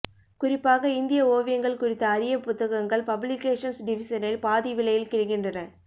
குறிப்பாக இந்திய ஒவியங்கள் குறித்த அரிய புத்தகங்கள் பப்ளிகேஷன்ஸ் டிவிசனில் பாதி விலையில் கிடைக்கின்றன